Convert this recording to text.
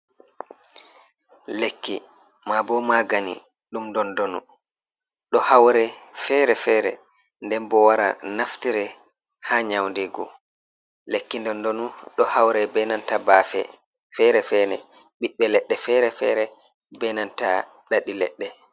Lekki, ma bo magani, dum dondonu. Do haurei fere-fere nden bo wara naftire ha nyaundegu lekki dondonu do haurei benanta bafe, fere-fere biɓbe ledde fere-fere be nanta dadi ledde.